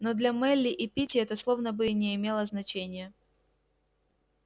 но для мелли и питти это словно бы и не имело значения